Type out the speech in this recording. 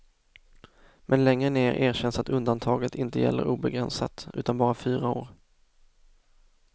Men längre ner erkänns att undantaget inte gäller obegränsat, utan bara fyra år.